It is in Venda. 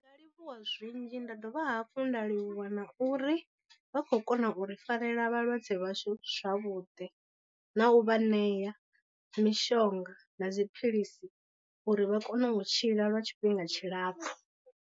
Ndi nga livhuwa zwinzhi nda dovha hafhu nda livhuwa na uri vha khou kona u ri farela vhalwadze vhashu zwavhuḓi, na u vha ṋea mishonga na dziphilisi uri vha kone u tshila lwa tshifhinga tshilapfhu.